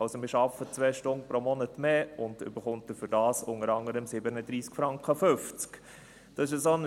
Also: Wir arbeiten pro Monat 2 Stunden mehr und erhalten dafür unter anderem 37,50 Franken.